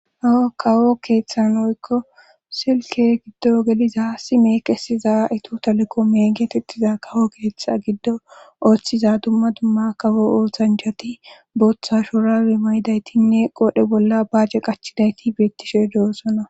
awa kawo keeththanoykko silke giddo ogeliza si meeqesiza ito taleko meegetettiza kawo keeththa giddo ooththiza dumma dumma kawo oothanjhati booththa shorawi mayidaytinne qoodhe bolla baace qachidayti beettishe doossona